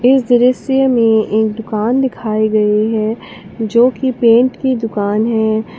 इस दृश्य में एक दुकान दिखाई गई है जो की पेंट की दुकान है।